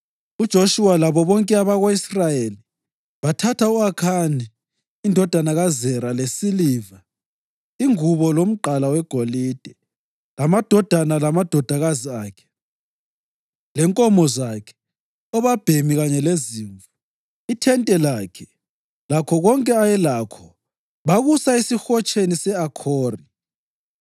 UJoshuwa labo bonke abako-Israyeli bathatha u-Akhani indodana kaZera lesiliva, ingubo, lomgqala wegolide, lamadodana lamadodakazi akhe, lenkomo zakhe, obabhemi kanye lezimvu, ithente lakhe lakho konke ayelakho bakusa esiHotsheni se-Akhori.